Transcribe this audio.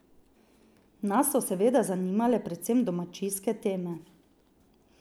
Nas so seveda zanimale predvsem domačijske teme.